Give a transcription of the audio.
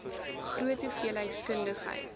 groot hoeveelheid kundigheid